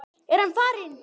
Er hann farinn?